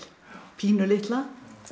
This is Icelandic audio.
pínulitla